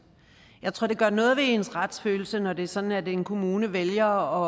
jeg tror det gør noget ved ens retsfølelse når det er sådan at en kommune vælger